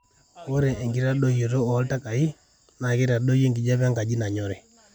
ore enkitadoyio ooltakai na reitadoyio enkijape enkaji nanyori